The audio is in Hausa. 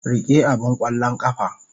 Rike abin ƙwallon ƙafa.